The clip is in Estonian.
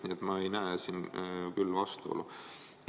Nii et ma ei näe siin vastuolu.